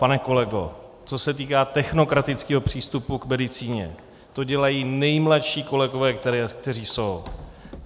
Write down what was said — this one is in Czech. Pane kolego, co se týká technokratického přístupu k medicíně, to dělají nejmladší kolegové, kteří jsou.